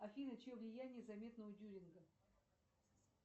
афина чье влияние заметно